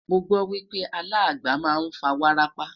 mọ gbo wipe alàgbà má n fa wárápá